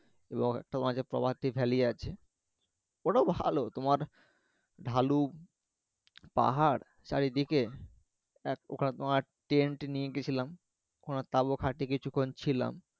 তোমার আছে প্রাভাতি ভ্যালি আছে ওটাও ভালো তোমার ঢালু পাহাড় পাহাড় চারিদিকে এক প্রকার তোমার টেন্ট নিয়ে গেছিলাম ওখানে তাবু খাটিয়ে কিছুক্ষণ ছিলাম